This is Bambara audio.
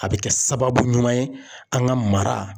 A bɛ kɛ sababu ɲuman ye an ka mara